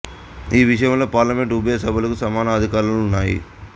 ఈ విషయంలో పార్లమెంటు ఉభయ సభలకు సమాన అధికారములు ఉన్నాయి